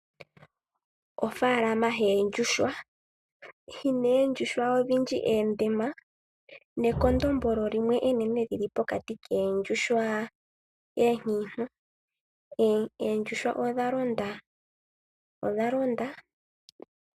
Ofaalama yoondjuhwa oyina ondjuhwa odhindji oondema nekondombolo limwe enene li li pokati koondjuhwa oonkiintu. Oondjuhwa odha londa moshikuku shoondjuhwa.